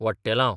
वट्टेलां